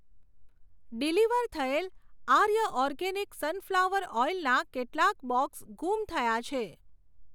Deliver થયેલ Arya organic sunflower oil નાં કેટલાક બોક્સ ગુમ થયા છે.